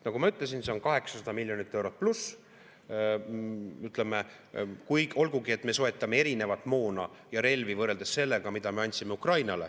Nagu ma ütlesin, see on 800+ miljonit eurot, olgugi et me soetame erinevat moona ja relvi võrreldes sellega, mida me andsime Ukrainale.